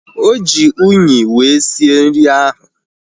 Oji unyi wee sie nri ahu